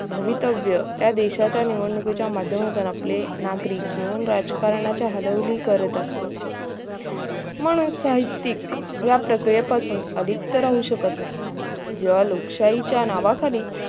भवितव्य या देशाच्या निवडणुकीच्या माध्यमातून आपले नागरिक केवळ राजकारणाच्या हरवली करत असत म्हणून साहित्यिक या प्रक्रेये पासुन अलिप्त राहू शकत नाही जेंव्हा लोकशाहीच्या नांवाखाली